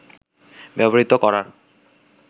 ব্যবহৃত করার